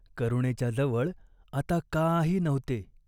करुणेच्या जवळ आता काही नव्हते.